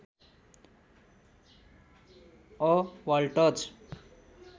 a waltz